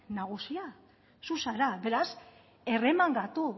nagusia zu zara beraz erremangatu